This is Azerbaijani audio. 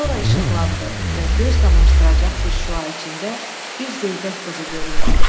Sonra işıqlandı və göz qamaşdıracaq bir şüa içində bir zeybək qızı göründü.